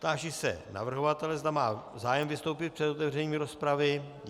Táži se navrhovatele, zda má zájem vystoupit před otevřením rozpravy.